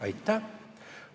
Aitäh!